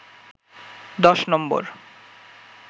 ১০ নম্বর